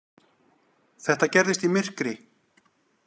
Þetta gerist í myrkri.